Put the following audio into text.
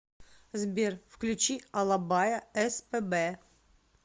сбер включи алабая эс пэ бэ